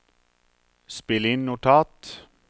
spill inn notat